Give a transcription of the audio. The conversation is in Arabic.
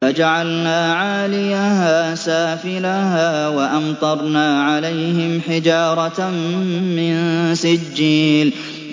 فَجَعَلْنَا عَالِيَهَا سَافِلَهَا وَأَمْطَرْنَا عَلَيْهِمْ حِجَارَةً مِّن سِجِّيلٍ